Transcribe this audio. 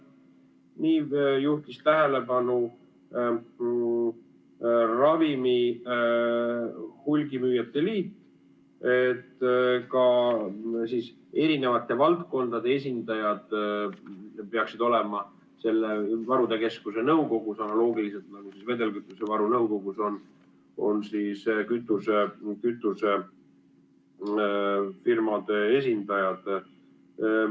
Ravimihulgimüüjate liit juhtis tähelepanu, et ka eri valdkondade esindajad peaksid olema selle varude keskuse nõukogus analoogiliselt, nagu vedelkütusevaru agentuuris on kütusefirmade esindajad.